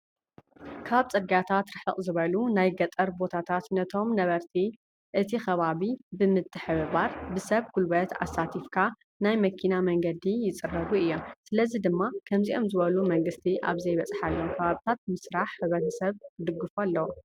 ካብ ፅርግያታት ርሕቅ ዝበሉ ናይ ገጠር ቦታታት ነቶም ነበርቲ እቲ ከባቢ ብምትሕብባር ብሰብ ጉልበት ኣሳቲፍካ ናይ መኪና መንገዲ ይፅረጉ እዮም። ስለዚ ድማ ከምዚኦም ዝበሉ መንግስቲ ኣብ ዘይበፅሓሎም ከባቢታት ምስራሕ ሕብረተሰብ ክድግፎ ኣለዎ።